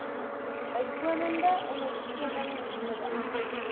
bykomende ondersteuning nodig